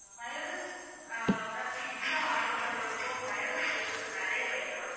mayonnaise ah ma'am pizza order பண்றப்போ mayonnaise வந்து கொஞ்சம் நிறைய வைங்க ma'am